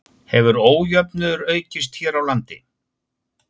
Hefur ójöfnuður aukist hér á landi?